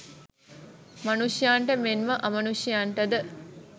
මනුෂ්‍යයන්ට මෙන්ම අමනුෂ්‍යයන්ටද